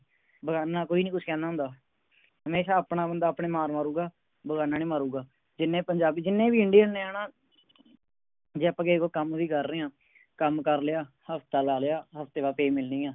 ਬੇਗਾਨਾ ਕੋਈ ਨੀ ਕੁਛ ਕਹਿੰਦਾ ਹੁੰਦਾ ਹਮੇਸ਼ਾ ਆਪਣਾ ਬੰਦਾ ਆਪਣੇ ਮਾਰ ਮਾਰੂਗਾ ਬੇਗਾਨਾ ਨਹੀਂ ਮਾਰੂਗਾ ਜਿੰਨੇ ਪੰਜਾਬੀ ਜਿੰਨੇ ਵੀ Indian ਨੇ ਹੈ ਨਾ ਜੇ ਅੱਪਾ ਕੋਈ ਕੰਮ ਵੀ ਕਰ ਰਹੇ ਆ ਕੰਮ ਕਰ ਲਿਆ ਹਫਤਾ ਲਾ ਲਿਆ ਹਫਤੇ ਬਾਅਦ Pay ਮਿਲਣੀ ਆ